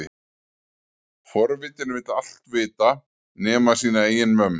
Forvitinn vill allt vita nema sína eigin vömm.